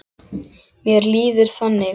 Mér líður þannig.